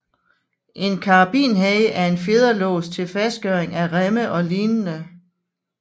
En karabinhage er en fjederlås til fastgøring af remme og lignende